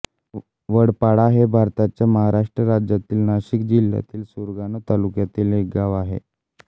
वडपाडा हे भारताच्या महाराष्ट्र राज्यातील नाशिक जिल्ह्यातील सुरगाणा तालुक्यातील एक गाव आहे